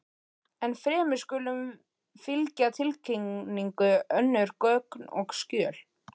Ennfremur skulu fylgja tilkynningu önnur gögn og skjöl.